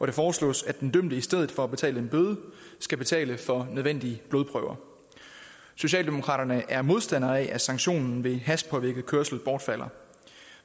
det foreslås at den dømte i stedet for at betale en bøde skal betale for nødvendige blodprøver socialdemokraterne er modstandere af at sanktionen ved hashpåvirket kørsel bortfalder